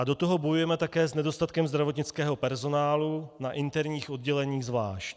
A do toho bojujeme také s nedostatkem zdravotnického personálu, na interních odděleních zvlášť.